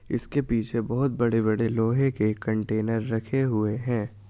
इसके पीछे बहुत बड़े बड़े लोहे के कंटेनर रखे हुए हैं ।